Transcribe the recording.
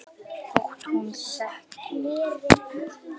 Þótt hún þegi.